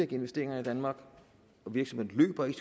investeringerne i danmark og virksomhederne